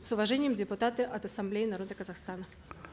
с уважением депутаты от ассамблеи народа казахстана